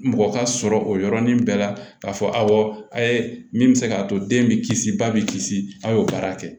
Mɔgɔ ka sɔrɔ o yɔrɔnin bɛɛ la k'a fɔ awɔ a ye min bɛ se k'a to den bɛ kisi ba bɛ kisi a ye o baara kɛ